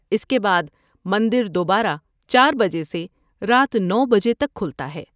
اس کے بعد، مندر دوبارہ چار بجے سے رات نو بجے تک کھلتا ہے